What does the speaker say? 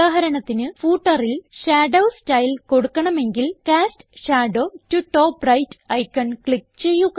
ഉദാഹരണത്തിന് footerൽ shadow style കൊടുക്കണമെങ്കിൽ cast shadow to top right icon click ചെയ്യുക